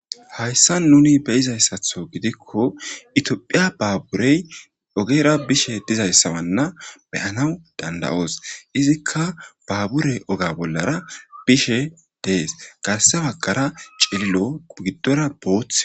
hayssa nuni beyizayssatho gidikko itiophiya baaburey ogera bishe dizayssawanna beyanaw dandayoos izikka baaburey oga bollara bishe dees garse wagqara cililo giddora booth